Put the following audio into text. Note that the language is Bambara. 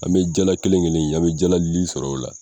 An bɛ jala kelen kelen ye, an bɛ jala li sɔrɔ o la.